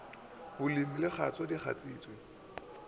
bolemi di kgatšwa di kgatšitšwe